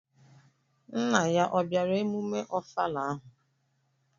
Nna ya obiara emume ofala ahụ?